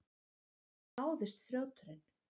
Hvar náðist þrjóturinn?